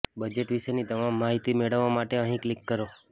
budget વિશેની તમામ માહિતી મેળવવા માટે અહીં ક્લિક કરો